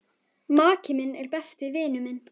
Maki minn er besti vinur minn.